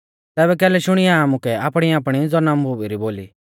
तैबै कैलै शुणींया आमुकै आपणीआपणी ज़नमभुमी री बोली